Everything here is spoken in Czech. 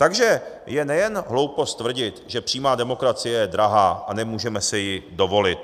Takže je nejen hloupost tvrdit, že přímá demokracie je drahá a nemůžeme si ji dovolit.